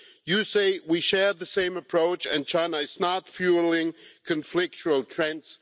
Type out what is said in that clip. You say we share the same approach and China is not fuelling conflictual trends.